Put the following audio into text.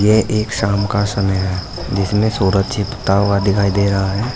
ये एक शाम का समय है जिसमें सूरज छिपता हुआ दिखाई दे रहा है।